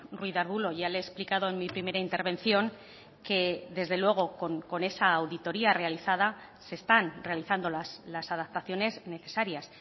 ruiz de arbulo ya le he explicado en mi primera intervención que desde luego con esa auditoría realizada se están realizando las adaptaciones necesarias